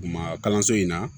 Maa kalanso in na